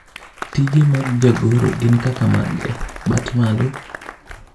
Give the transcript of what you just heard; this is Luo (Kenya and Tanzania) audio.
tije mag jagoro gin kaka mage ?, bat malo